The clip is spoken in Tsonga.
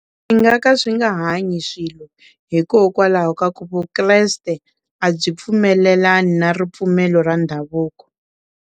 Swi nga ka swi nga hanyi swilo hikokwalaho ka ku vukreste a byi pfumelelani na ripfumelo ra ndhavuko.